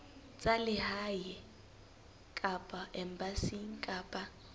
tsa lehae kapa embasing kapa